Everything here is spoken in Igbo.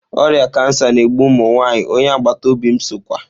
Oria kansa na-egbu ụmụ nwanyị, onye agbata obi m sokwa.